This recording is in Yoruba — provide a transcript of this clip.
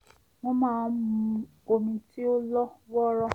wọ́n máa ń mu omi tí ó lọ́ wọ́ọ́rọ́